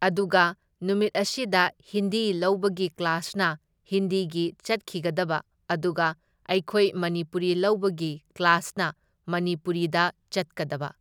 ꯑꯗꯨꯒ ꯅꯨꯃꯤꯠ ꯑꯁꯤꯗ ꯍꯤꯟꯗꯤ ꯂꯧꯕꯒꯤ ꯀ꯭ꯂꯥꯁꯅ ꯍꯤꯟꯗꯤꯒꯤ ꯆꯠꯈꯤꯒꯗꯕ ꯑꯗꯨꯒ ꯑꯩꯈꯣꯏ ꯃꯅꯤꯄꯨꯔꯤ ꯂꯧꯕꯒꯤ ꯀ꯭ꯂꯥꯁꯅ ꯃꯅꯤꯄꯨꯔꯤꯗ ꯆꯠꯀꯗꯕ꯫